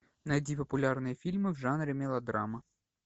найди популярные фильмы в жанре мелодрама